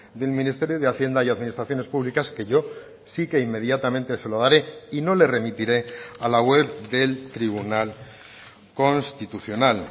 del ministerio de hacienda y administraciones públicas que yo sí que inmediatamente se lo daré y no le remitiré a la web del tribunal constitucional